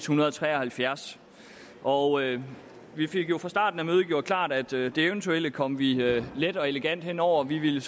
hundrede og tre og halvfjerds og vi fik jo fra starten af mødet gjort klart at det eventuelle kom vi let og elegant hen over vi ville